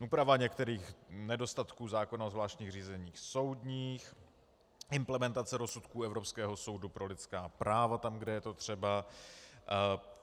Úprava některých nedostatků zákona o zvláštních řízeních soudních, implementace rozsudků Evropského soudu pro lidská práva tam, kde je to třeba.